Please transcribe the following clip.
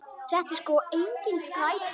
Þetta er sko engin skræpa.